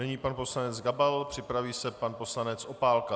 Nyní pan poslanec Gabal, připraví se pan poslanec Opálka.